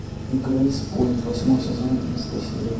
грейспойнт восьмой сезон одиннадцатая серия